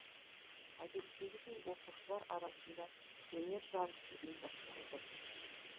әдеттегідей оқушылар арасында өнер жарысы ұйымдастырылды